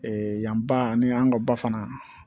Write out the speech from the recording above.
yan ba ani an ka ba fana